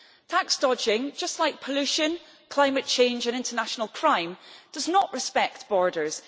Tax dodging, just like pollution, climate change and international crime, does not respect borders.